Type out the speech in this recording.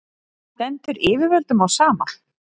stendur yfirvöldum á sama